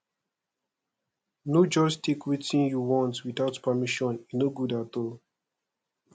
no just take wetin you want without permission e no good at all